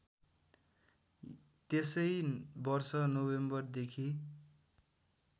त्यसै वर्ष नोभेम्बरदेखि